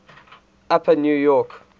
upper new york